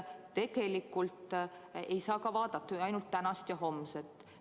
Tegelikult ei saa vaadata ainult tänast ja homset.